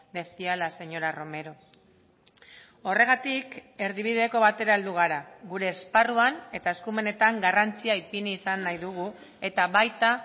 decía la señora romero horregatik erdibideko batera heldu gara gure esparruan eta eskumenetan garrantzia ipini izan nahi dugu eta baita